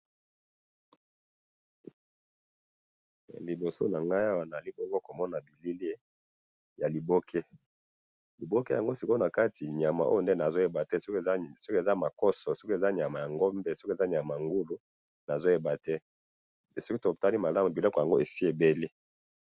Liboso na nga awa na moni elili ya liboke eza na nyama na kati, nyama yango nde na yebite soki ezali makoso to nyama ya ngulu, soki to tali malamu biloko yango esi e beli.